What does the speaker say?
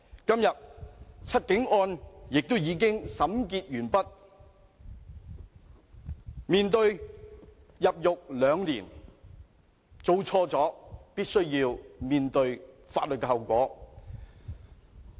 今天"七警案"已審結，他們面對入獄兩年，做錯事便必須面對法律後果。